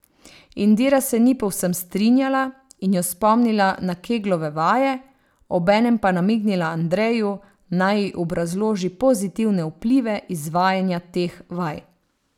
Indira se ni povsem strinjala in jo spomnila na keglove vaje, obenem pa namignila Andreju, naj ji obrazloži pozitivne vplive izvajanja teh vaj.